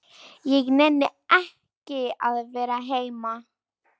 Ég nenni ekki að vera heima.